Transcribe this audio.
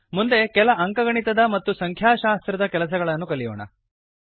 ಮುಂದೆ ಕೆಲ ಅಂಕಗಣಿತದ ಮತ್ತು ಸಂಖ್ಯಾಶಾಸ್ತ್ರದ ಕೆಲಸಗಳನ್ನು ಕಲಿಯೋಣ